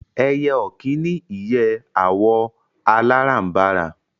Ẹyẹ ọ̀kín ní ìyẹ́ àwọ̀ aláràǹbarà